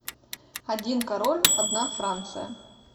один король одна франция